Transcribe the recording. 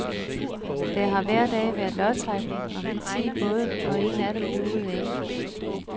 Der har hver dag været lodtrækning om de ti både, og en af dem duede ikke.